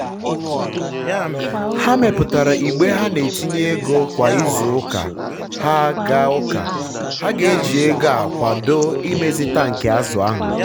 ha meputara igbe ha na-etinye ego kwa izu ụka. ha ga ụka. ha ga eji ego a akwado imezi tankị azụ ha